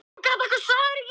Ég vil lifa á ný